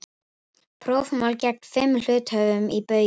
Prófmál gegn fimm hluthöfum í Baugi